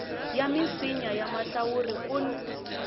ya misinya ya mahlawuri kun